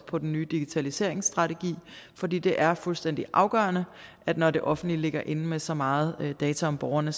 på den nye digitaliseringsstrategi fordi det er fuldstændig afgørende at når det offentlige ligger inde med så meget data om borgerne